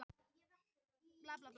Leikurinn er opinn